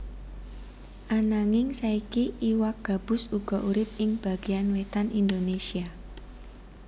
Ananging saiki iwak gabus uga urip ing bagéyan wétan Indonésia